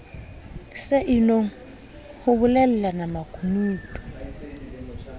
se inong ho bolellana makunutu